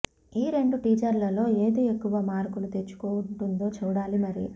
ఈ రెండు టీజర్లలో ఏది ఎక్కువ మార్కులు తెచ్చుకుంటుందో చూడాలి మరి